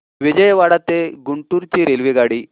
विजयवाडा ते गुंटूर ची रेल्वेगाडी